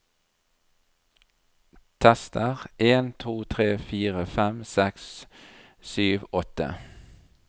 Tester en to tre fire fem seks sju åtte